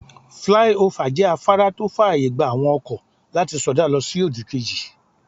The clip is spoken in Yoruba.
Flyover jẹ́ afárá tó fàyè gba àwọn ọkọ̀ láti sọdá lọ sí òdì kejì.